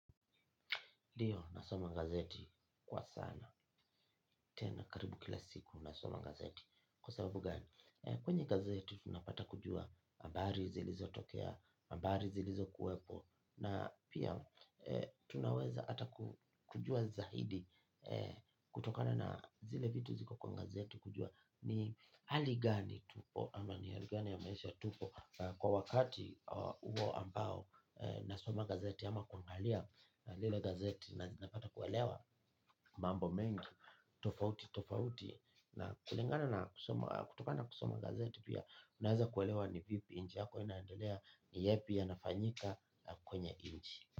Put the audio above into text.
Ndio nasoma gazeti kwa sana. Tena karibu kila siku nasoma gazeti. Kwa sababu gani? Kwenye gazeti tunapata kujua habari zilizo tokea, habari zilizo kuwepo na pia tunaweza ata kujua zahidi kutokana na zile vitu ziko kwa gazeti kujua ni haligani tupo ama ni haligani ya maisha tupo. Kwa wakati uo ambao nasoma gazeti ama kuangalia lilo gazeti na ninapata kuelewa mambo mengi tofauti tofauti. Na kulingana na kutoka na kusoma gazeti pia unaeza kuelewa ni vipi inji yako inaendelea ni yepi ya nafanyika kwenye inji.